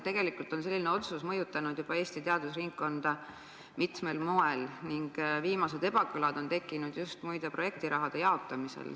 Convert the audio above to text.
Tegelikult on selline otsus mõjutanud Eesti teadusringkonda juba mitmel moel ning viimased ebakõlad on muide tekkinud just projektiraha jaotamisel.